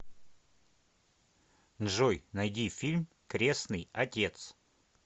джой найди фильм кресный отец